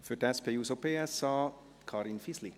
Für die SP-JUSO-PSA, Karin Fisli.